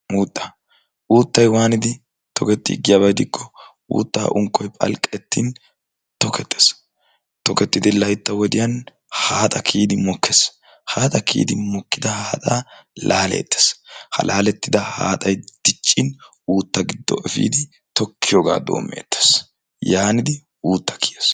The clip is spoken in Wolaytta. Uuttaa uuttayi waanidi tohettii giyaba gidikkoo uuttaa unkkoyi phalqqettin tokettes. Tokettidi laytta wodiyan haaxa mokkes. Haaxa kiyidi mokkida haaxa laaleettes. Ha laalettida haaxayi diccin uutta giddo efiidi tokkiyooga doommeettes. Yaanidi uutta kiyes.